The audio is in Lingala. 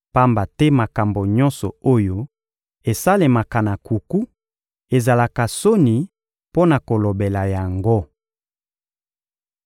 Pamba te makambo nyonso oyo esalemaka na nkuku ezalaka soni mpo na kolobela yango.